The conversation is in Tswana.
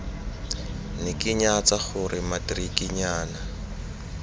ne ke nyatsa gore matikirinyana